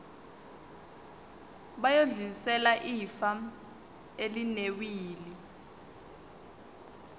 bayodlulisela ifa elinewili